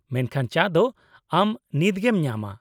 ᱢᱮᱱᱠᱷᱟᱱ, ᱪᱟ ᱫᱚ ᱟᱢ ᱱᱤᱛᱜᱮᱢ ᱧᱟᱢᱟ ᱾